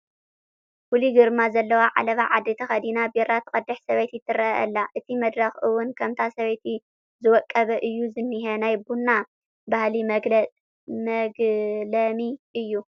ፍሉይ ግርማ ዘለዎ ዓለባ ዓዲ ተኸዲና ቡራ ትቐድሕ ሰበይቲ ትርአ ኣላ፡፡ እቲ መድረኽ እውን ከምታ ሰበይቲ ዝወቀበ እዩ ዝኒሀ፡፡ ናይ ቡና ባህሊ መግለሚ እዩ፡፡